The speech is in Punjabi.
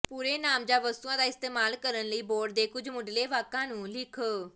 ਪੂਰੇ ਨਾਮ ਜਾਂ ਵਸਤੂਆਂ ਦਾ ਇਸਤੇਮਾਲ ਕਰਨ ਲਈ ਬੋਰਡ ਦੇ ਕੁਝ ਮੁਢਲੇ ਵਾਕਾਂ ਨੂੰ ਲਿਖੋ